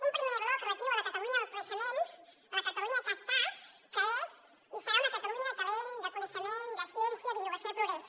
un primer bloc relatiu a la catalunya del coneixement la catalunya que ha estat que és i serà una catalunya de talent de coneixement de ciència d’innovació i de progrés